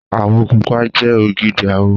Àwọ̀ pupa jẹ ògidì àwọ̀